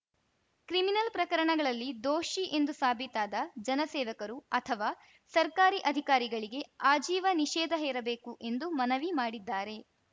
criminal ಪ್ರಕರಣಗಳಲ್ಲಿ ದೋಷಿ ಎಂದು ಸಾಬೀತಾದ ಜನಸೇವಕರು ಅಥವಾ ಸರ್ಕಾರಿ ಅಧಿಕಾರಿಗಳಿಗೆ ಆಜೀವ ನಿಷೇಧ ಹೇರಬೇಕು ಎಂದು ಮನವಿ ಮಾಡಿದ್ದಾರೆ